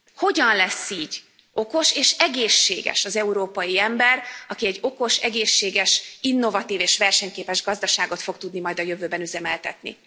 Hogyan lesz így okos és egészséges az európai ember, aki egy okos, egészséges, innovatív és versenyképes gazdaságot fog tudni majd a jövőben üzemeltetni?